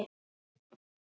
Hún var frænka mín.